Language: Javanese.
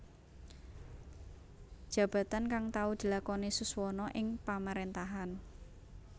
Jabatan kang tau dilakoni Suswono ing Pamaréntahan